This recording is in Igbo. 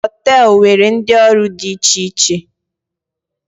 Họteelu nwere ndị ọrụ dị iche iche